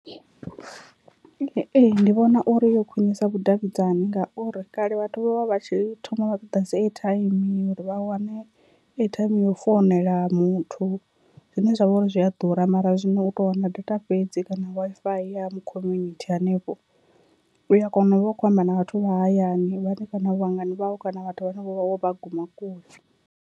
Ee, ndi vhona uri yo khwinisa vhudavhidzani ngauri kale vhathu vho vha vha tshi thoma vha ṱoḓa dzi airtime uri vha wane airtime yo founela muthu zwine zwa vha uri zwi a ḓura, mara zwino u to wana data fhedzi kana Wi-Fi ya mu khominithi hanefho uya kona u vha u kho amba na vhathu vha hayani vhane kana vhangana vhau kana vhathu vhane wo vha guma kule.